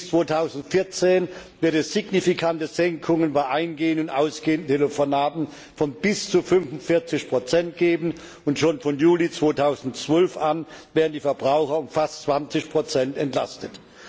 Bis 2014 wird es signifikante Senkungen bei ein und ausgehenden Telefonaten von bis zu 45 geben, und schon von Juli 2012 an werden die Verbraucher um fast 20 entlastet.